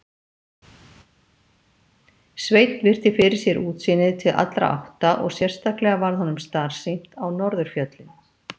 Sveinn virti fyrir sér útsýnið til allra átta og sérstaklega varð honum starsýnt á norðurfjöllin.